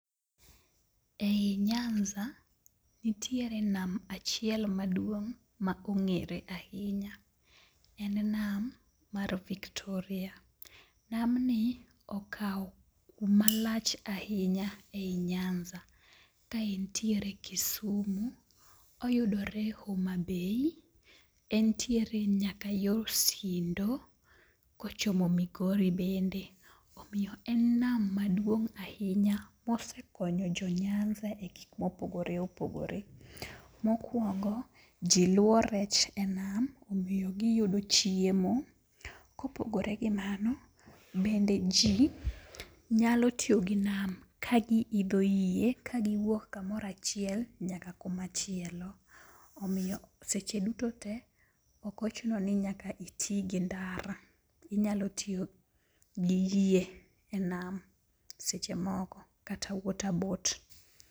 E i nyanza nitiere nam achiel maduong' ma ong'ere ahinya, en nam mar Victoria. Namni okawo kuma lach ahinya e i nyanza ka entiere Kisumu, oyudore Homabay, entiere nyaka yor Sindo kochomo Migori bende, omiyo en nam maduong' ahinya mosekonyo jo nyanza e gik mopogore opogore. Mokwongo ji luwo rech e nam omiyo giyudo chiemo. Kopogore gi mano, bende ji nyalo tiyo gi nam kagiidho yie kagiwuok kamoro achiel nyaka kumachielo, omiyo seche duto te ok ochuno ni nyaka iti gi ndara, inyalo tiyogi yie e nam seche moko kata waterboat.